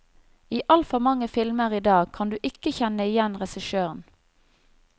I altfor mange filmer i dag kan du ikke kjenne igjen regissøren.